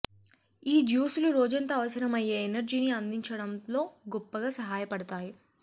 ఈ జ్యూసులు రోజంతా అవసరం అయ్యే ఎనర్జీని అందించడంలో గొప్పగా సహాయపడుతాయి